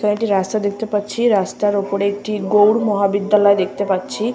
কয়েকটি রাস্তা দেখতে পাচ্ছি রাস্তার উপরে একটি গৌর মহাবিদ্যালয় দেখতে পাচ্ছি।